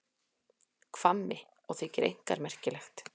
Hvammi, og þykir einkar merkilegt.